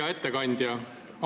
Hea ettekandja!